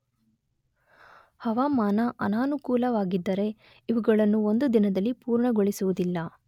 ಹವಾಮಾನ ಅನನಕೂಲವಾಗಿದ್ದರೆ ಇವುಗಳನ್ನು ಒಂದು ದಿನದಲ್ಲಿ ಪೂರ್ಣಗೊಳಿಸುವುದಿಲ್ಲ.